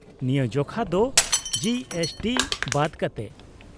-ᱱᱤᱭᱟᱹ ᱡᱚᱠᱷᱟ ᱫᱚ ᱡᱤᱮᱥᱴᱤ ᱵᱟᱫ ᱠᱟᱛᱮᱫ ᱾